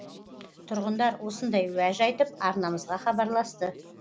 тұрғындар осындай уәж айтып арнамызға хабарласты